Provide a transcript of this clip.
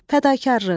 Fədakarlıq.